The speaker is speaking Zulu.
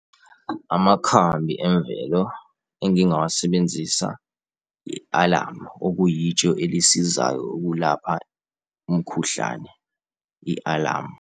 Amakhambi emvelo engingawasebenzisa i-alamu, okuyitshe elisizayo ukulapha umkhuhlane, i-alamu.